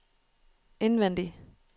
indvendig